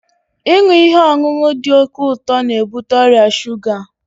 Ịṅụ ihe ọṅụṅụ dị oke ụtọ n'ebute ọrịa shuga